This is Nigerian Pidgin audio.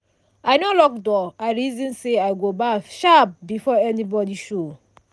i no lock door i reason say i go baff sharp before anybody show.